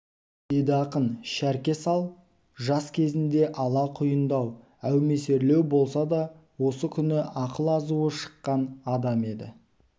деді ақын шәрке сал жас кезінде ала құйындау әумесерлеу болса да осы күні ақыл-азуы шыққан адам еді